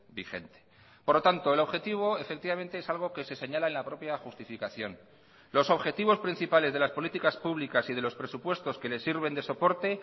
vigente por lo tanto el objetivo efectivamente es algo que se señala en la propia justificación los objetivos principales de las políticas públicas y de los presupuestos que les sirven de soporte